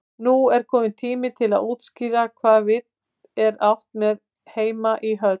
Nú er kominn tími til að útskýra hvað við er átt með heima í höll.